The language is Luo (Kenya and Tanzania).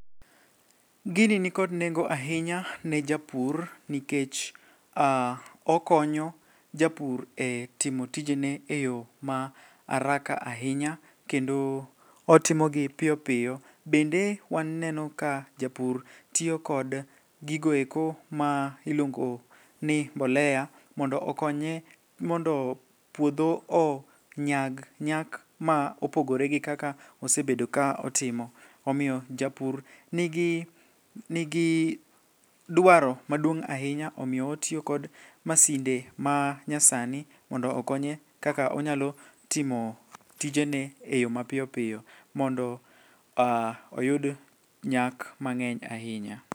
Gini nikod nengo ahinya ne japur nikech okonyo japur e timo tijene e yo ma araka ahinya kendo otimogi piyo piyo, bende waneno ka japur tiyo kod gigoeko ma iluongo ni mbolea mondo okonye mondo puodho onyag nyak ma opogore gi kaka osebedo ka otimo, omiyo japur nigi dwaro maduong' ahinya omiyo otiyo gi masinde ma nyasani mondo okonye kaka onyalo timo tijene e yo mapiyopiyo mondo oyud nyak mang'eny ahinya.